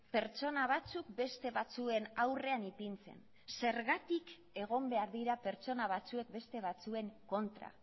pertsona batzuk beste batzuen aurrean ipintzen zergatik egon behar dira pertsona batzuek beste batzuen kontra